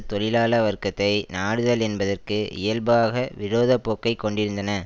தொழிலாள வர்க்கத்தை நாடுதல் என்பதற்கு இயல்பாக விரோத போக்கை கொண்டிருந்தன